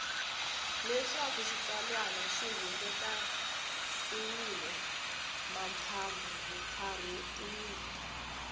leswaku xitsalwana xi kunguhatiwile mpfapfarhutiwile